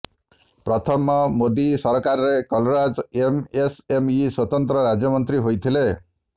ପ୍ରଥମ ମୋଦୀ ସରକାରରେ କଲରାଜ ଏମଏସଏମଇ ସ୍ୱତନ୍ତ୍ର ରାଜ୍ୟମନ୍ତ୍ରୀ ହୋଇଥିଲେ